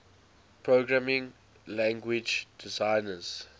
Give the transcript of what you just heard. programming language designers